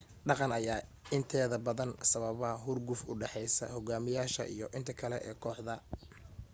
dhaqan ayaa inteeda badan sababa xurguf u dhaxeysa xogaamiyasha iyo inta kale ee kooxda